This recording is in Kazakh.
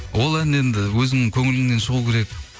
ол ән енді өзіңнің көңіліңнен шығуы керек